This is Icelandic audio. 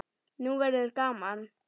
Nú verður gaman!